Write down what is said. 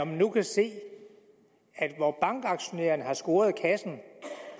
nu se at bankaktionærerne har scoret kassen